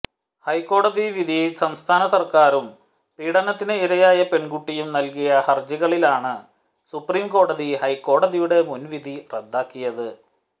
ഹൈക്കോടതിവിധി സംസ്ഥാനസര്ക്കാറും പീഡനത്തിന് ഇരയായ പെണ്കുട്ടിയും നല്കിയ ഹര്ജികളിലാണ് സുപ്രീംകോടതി ഹൈക്കോടതിയുടെ മുന്വിധി റദ്ദാക്കിയത്